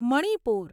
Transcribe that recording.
Manipur